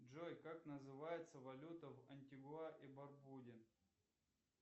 джой как называется валюта в антигуа и барбуде